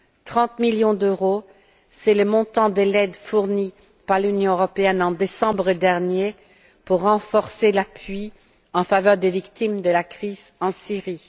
30millions d'euros c'est le montant de l'aide fournie par l'Union européenne en décembre dernier pour renforcer l'appui en faveur des victimes de la crise en Syrie.